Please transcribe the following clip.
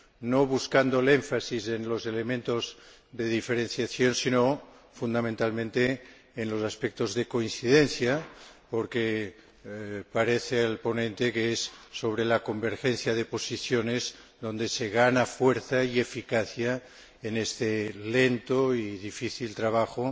no buscando el énfasis en los elementos de diferenciación, sino, fundamentalmente, en los aspectos de coincidencia, porque el ponente cree que es con la convergencia de posiciones con lo que se gana fuerza y eficacia en este lento y difícil trabajo